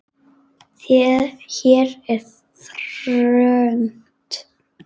Hér er þröngt.